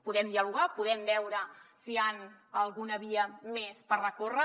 podem dialogar podem veure si hi ha alguna via més per recórrer